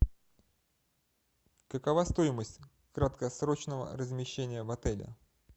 какова стоимость краткосрочного размещения в отеле